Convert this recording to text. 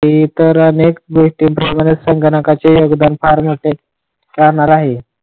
ते तर अनेक गोष्टी प्रमाणे संगणकाचे योगदान फार महत्वाचे राहणार आहे.